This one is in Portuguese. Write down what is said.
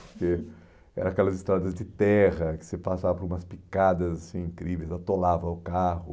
Porque eram aquelas estradas de terra que você passava por umas picadas assim incríveis, atolava o carro.